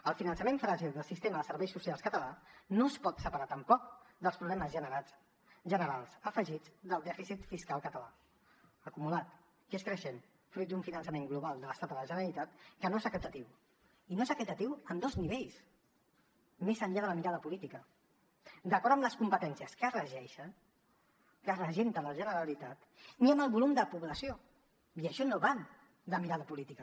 el finançament fràgil del sistema de serveis socials català no es pot separar tampoc dels problemes generals afegits del dèficit fiscal català acumulat que és creixent fruit d’un finançament global de l’estat a la generalitat que no és equitatiu i no és equitatiu en dos nivells més enllà de la mirada política d’acord amb les competències que regenta la generalitat ni amb el volum de població i això no va de mirada política